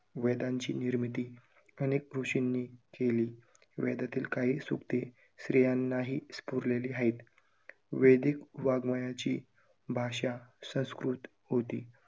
वेदांची निर्मिती अनेक ऋषींनी केली. वेदातील काही सूक्ते स्त्रीयांनाही स्फुरलेली आहेत. वैदिक वाङमयाची भाषा संस्कृत होती.